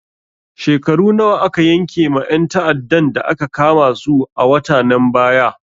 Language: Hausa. Shekaru nawa aka yanke ma ƴan ta'addan da aka kama su a watanen baya?